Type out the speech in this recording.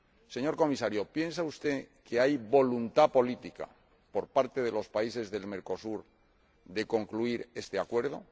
Señor Comisario, ¿piensa usted que hay voluntad política, por parte de los países de Mercosur, de concluir este acuerdo?